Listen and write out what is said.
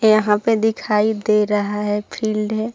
यहाँ पे दिखाई दे रहा है फिल्ड है।